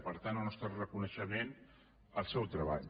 per tant el nostre reconeixement al seu treball